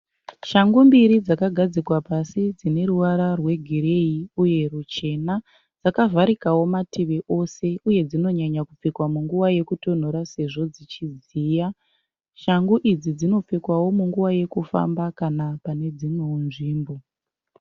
Shangu mbiri dzakagadzikwa pasi dzine ruvara rwegireyi uye ruchena. Dzakavharikawo mativi ose uye dzinonyanya kupfekwa munguva yekutonhora sezvo dzichidziya. Shangu idzi dzinopfekwawo munguva yekufamba kana pane dzimwewo nzvimbo.